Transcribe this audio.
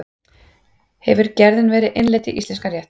Hefur gerðin verið innleidd í íslenskan rétt?